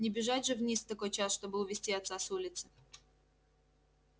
не бежать же вниз в такой час чтобы увести отца с улицы